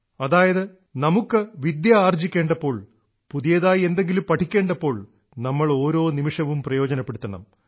അതായത് നമുക്കു വിദ്യ ആർജ്ജിക്കേണ്ടപ്പോൾ പുതിയതായി എന്തെങ്കിലും പഠിക്കേണ്ടപ്പോൾ നമ്മൾ ഓരോ നിമിഷവും പ്രയോജനപ്പെടുത്തണം